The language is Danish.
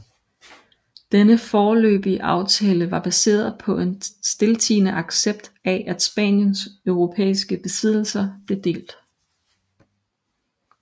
Denne foreløbige aftale var baseret på en stiltiende accept af at Spaniens europæiske besiddelser blev delt